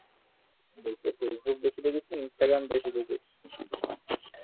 বলছি ফেসবুক বেশি দেখিস না ইন্সট্রাগ্রাম বেশি দেখিস?